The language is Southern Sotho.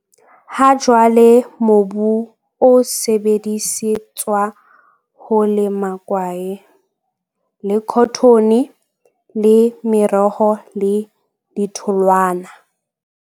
Ha jwale mobu o sebedisetswa ho lema kwae, le khothone le meroho le ditholwana.